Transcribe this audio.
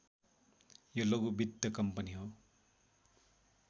यो लघु वित्त कम्पनी हो